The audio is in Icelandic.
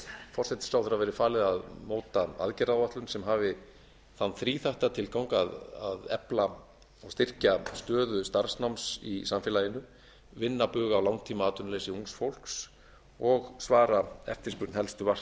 forsætisráðherra verði falið að móta aðgerðaáætlun sem hafi þann þríþætta tilgang að efla og styrkja stöðu starfsnáms í samfélaginu vinna bug á langtímaatvinnuleysi ungs fólks og svara eftirspurn helstu